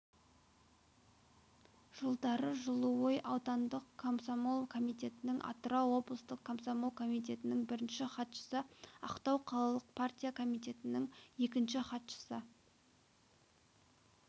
жылдары жылыой аудандықкомсомол комитетінің атырау облыстық комсомол комитетінің бірінші хатшысы ақтау қалалық партия комитетінің екінші хатшысы